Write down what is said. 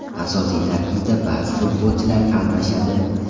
Asosiy tarkibda ba’zi futbolchilar almashadi.